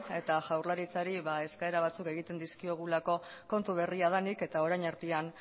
eta jaurlaritzari eskaera batzuk egiten dizkiogulako kontu berria denik eta orain artean